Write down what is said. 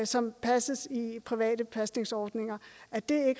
som passes i private pasningsordninger er det